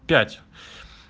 пять